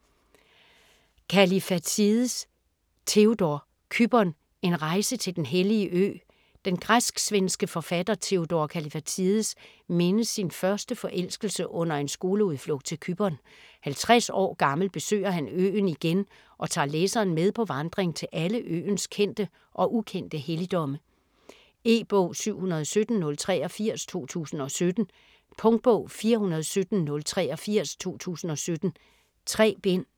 Kallifatides, Theodor: Cypern: en rejse til den hellige ø Den græsk-svenske forfatter Theodor Kallifatides mindes sin første forelskelse under en skoleudflugt til Cypern; 50 år gammel besøger han øen igen og tager læseren med på vandring til alle øens kendte og ukendte helligdomme. E-bog 717083 2017. Punktbog 417083 2017. 3 bind.